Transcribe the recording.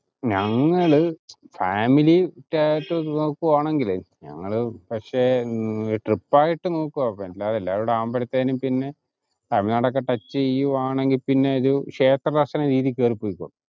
ഞങ്ങള് family ക്കായിട്ടു നോക്കുവാണെങ്കിലേ ഞങ്ങള് പക്ഷെ trip ആയിട്ടു നോക്കുവാ എല്ലാരും കൂടി ആവുമ്പഴത്തിന് പിന്നെ തമിഴ്നാടോക്കെ touch ചെയ്യുവാണെങ്കിൽ പിന്നെ ഒരു ക്ഷേത്ര ദർശന രീതിക്കു കേറി പൊയ്ക്കോ